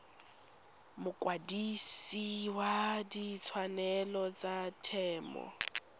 mokwadise wa ditshwanelo tsa temo